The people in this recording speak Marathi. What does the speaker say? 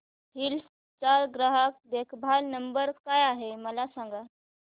हिल्स चा ग्राहक देखभाल नंबर काय आहे मला सांग